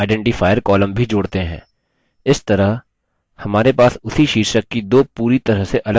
इस तरह हमारे पास उसी शीर्षक की दो पूरी तरह से अलग पुस्तकें हो सकती हैं